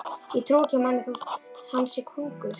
Ég trúi ekki manni þótt hann sé konungur.